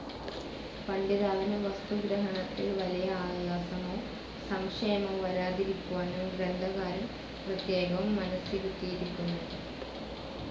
പഠിതാവിന് വസ്തുഗ്രഹണത്തിൽ വലിയ ആയാസമോ സംശയമോ വരാതിരിക്കുവാനും ഗ്രന്ധകാരൻ പ്രത്യേകം മനസ്സിരുത്തിയിരിക്കുന്നു.